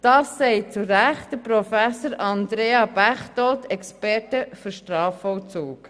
Das sagt zu Recht Professor Andrea Baechtold, Experte für Strafvollzug.